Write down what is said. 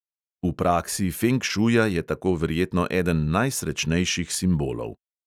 V praksi feng šuja je tako verjetno eden najsrečnejših simbolov.